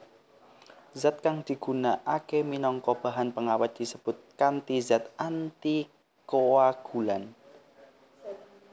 Zat kang digunakake minangka bahan pengawet disebut kanti zat antikoagulan